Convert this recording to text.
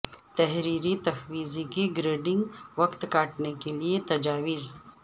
تحریری تفویض کی گریڈنگ وقت کاٹنے کے لئے تجاویز